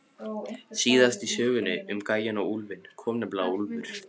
Síðast í sögunni um gæjann og úlfinn kom nefnilega úlfur.